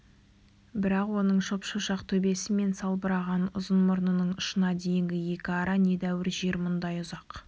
бірақ оның шоп-шошақ төбесі мен салбыраған ұзын мұрнының ұшына дейінгі екі ара недәуір жер мұндай ұзақ